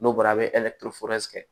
N'o bɔra a bɛ kɛ